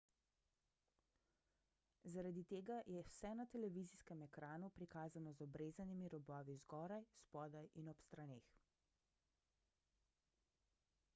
zaradi tega je vse na televizijskem ekranu prikazano z obrezanimi robovi zgoraj spodaj in ob straneh